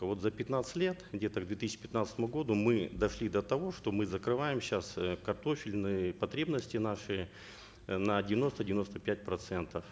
вот за пятнадцать лет где то к две тысячи пятнадцатому году мы долши до того что мы закрываем сейчас э картофельные потребности наши э на девяносто девяносто пять процентов